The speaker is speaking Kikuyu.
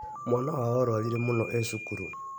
Mwana wao arwarire mũno e cukuri